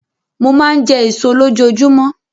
Mo máa ń jẹ èso lójoojúmọ́.